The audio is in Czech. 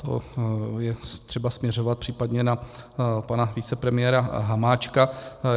To je třeba směřovat případně na pana vicepremiéra Hamáčka.